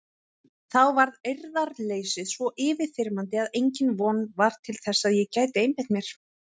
Þá varð eirðarleysið svo yfirþyrmandi að engin von var til að ég gæti einbeitt mér.